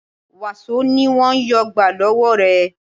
Wàsó ni wọn yóò gbà lọ́wọ́ rẹ